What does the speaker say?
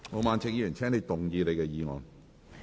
毛議員，請動議你的議案。